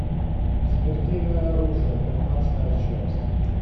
смертельное оружие пятнадцатая часть